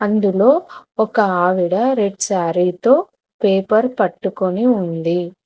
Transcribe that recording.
ఇందులో ఒక ఆవిడ రెడ్ శారీ తో పేపర్ పట్టుకుని ఉంది.